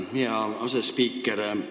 Tänan, hea asespiiker!